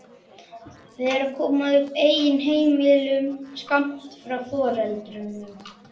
Þau eru að koma upp eigin heimilum skammt frá foreldrunum.